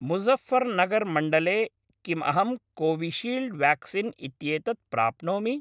मुजफर्नगर् मण्डले किम् अहं कोविशील्ड् व्याक्सीन् इत्येतत् प्राप्नोमि?